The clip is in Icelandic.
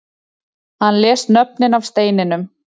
Hann les nöfnin af steininum